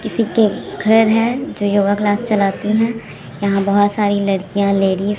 किसी के घर है जो योगा क्लास चलाती हैं। यहां बहोत सारी लड़कियां लेडिज --